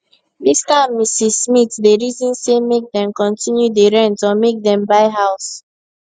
mr and mrs smith dey reason say make dem continue dey rent or make dem buy house